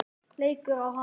Leikur á hana.